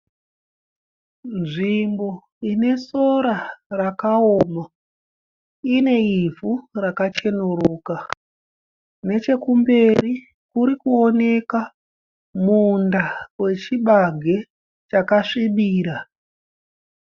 Nzvimbo ine sora rakaoma . Ine ivhu rakachenuruka. Nechekumberi kuri kuoneka munda wechibage chakasvibira.